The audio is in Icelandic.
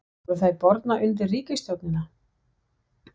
Voru þær bornar undir ríkisstjórnina?